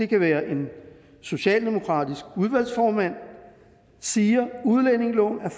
kan være en socialdemokratisk udvalgsformand siger at udlændingeloven er